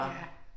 Ja